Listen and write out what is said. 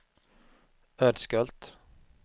Ödskölt